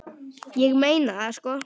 Ég meina það, sko.